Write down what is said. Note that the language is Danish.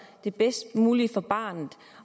det bedst mulige for barnet